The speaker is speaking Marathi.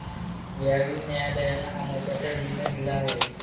यावेळी न्यायालयानं हा महत्वाचा निर्णय दिला आहे.